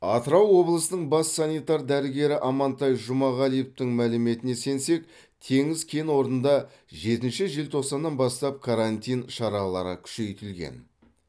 атырау облысының бас санитар дәрігері амантай жұмағалиевтың мәліметіне сенсек теңіз кен орнында жетінші желтоқсаннан бастап карантин шаралары күшейтілген